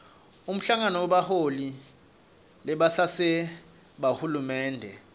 umhlangano webaholi bebasenti bahulumende